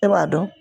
E b'a dɔn